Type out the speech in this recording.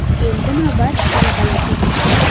Endi esa navbat talabalarga keldi.